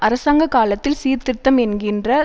அரசாங்க காலத்தில் சீர்திருத்தம் என்கின்ற